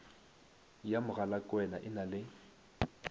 ya mogalakwena e na le